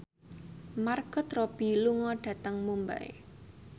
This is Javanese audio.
Margot Robbie lunga dhateng Mumbai